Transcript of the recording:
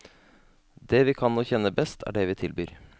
Det vi kan og kjenner best, er det vil tilbyr.